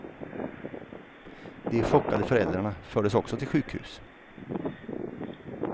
De chockade föräldrarna fördes också till sjukhus.